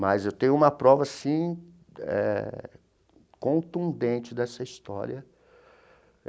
Mas eu tenho uma prova assim eh contundente dessa história.